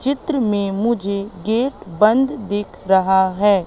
चित्र में मुझे गेट बंद दिख रहा है।